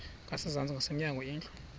ngasezantsi ngasemnyango indlu